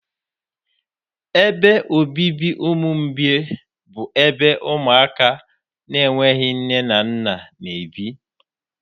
Ebe obibi ụmụ mgbei bụ ebe ụmụaka na-enweghị nne na nna n'ebi